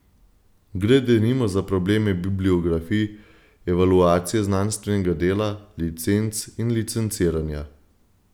Gre denimo za probleme bibliografij, evaluacije znanstvenega dela, licenc in licenciranja.